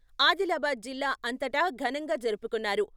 ఆదిలాబాద్ జిల్లా అంతటా ఘనంగా జరుపుకున్నారు.